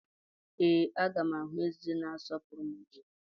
Ee, a ga m ahụ eze na-asọpụrụ mmadu echi.